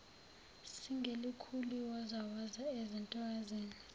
singelikhulu iwozawoza ezintokazini